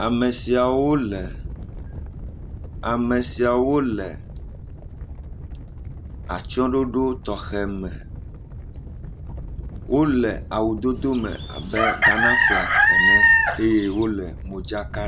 Ame siawo le, ame siawo le atsyɔɖoɖo tɔxɛ me, wole awudodo me abe Ghana flag ene eye wole modzaka …